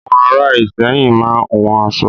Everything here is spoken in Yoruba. Àwọn ará Ìsẹ́yìn máa ń hun aṣọ.